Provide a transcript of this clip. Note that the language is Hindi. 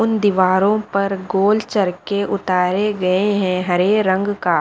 उन दीवारों पर गोल चरके उतारे गए हैं हरे रंग का--